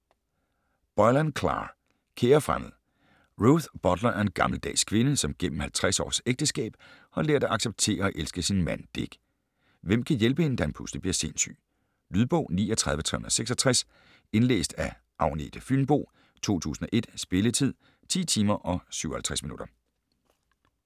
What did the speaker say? Boylan, Clare: Kære fremmede Ruth Butler er en gammeldags kvinde, som gennem 50 års ægteskab har lært at acceptere og elske sin mand, Dick. Hvem kan hjælpe hende, da han pludselig bliver sindssyg? Lydbog 39366 Indlæst af Agnete Fynboe, 2001. Spilletid: 10 timer, 57 minutter.